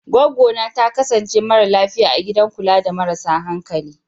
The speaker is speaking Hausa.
Goggona ta kasance mara lafiya a gidan kula da marasa hankali.